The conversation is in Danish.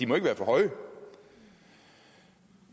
må være for høje